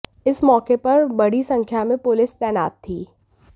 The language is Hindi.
इस मौके पर बड़ी संख्या में पुलिस तैनात थी